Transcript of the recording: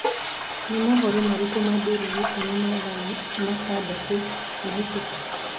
ni mohoro marĩkũ ma daily nation ma mathaa matandatu mahituku